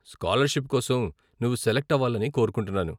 Scholarship కోసం నువ్వు select అవ్వాలని కోరుకుంటున్నాను.